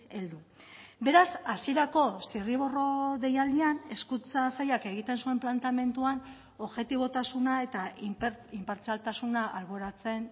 heldu beraz hasierako zirriborro deialdian hezkuntza sailak egiten zuen planteamenduan objetibotasuna eta inpartzialtasuna alboratzen